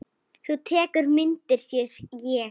Þú tekur myndir, sé ég.